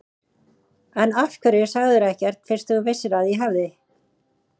En af hverju sagðirðu ekkert fyrst þú vissir að ég hafði.